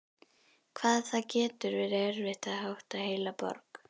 Hvað það getur verið erfitt að hátta heila borg!